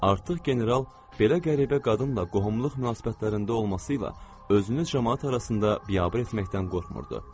Artıq general belə qəribə qadınla qohumluq münasibətlərində olmasıyla özünü camaat arasında biabır etməkdən qorxmurdu.